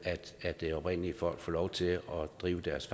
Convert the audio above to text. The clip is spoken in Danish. at de oprindelige folk får lov til at drive deres